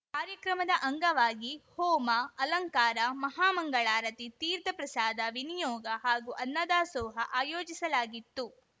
ಕಾರ್ಯಕ್ರಮದ ಅಂಗವಾಗಿ ಹೋಮ ಅಲಂಕಾರ ಮಹಾ ಮಂಗಳಾರತಿ ತೀರ್ಥ ಪ್ರಸಾದ ವಿನಿಯೋಗ ಹಾಗೂ ಅನ್ನದಾಸೋಹ ಆಯೋಜಿಸಲಾಗಿತ್ತು